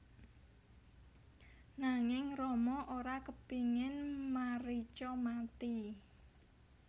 Nanging Rama ora kepingin Marica mati